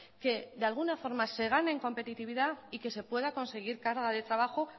que de alguna forma se gane en competitividad y que se pueda conseguir carga de trabajo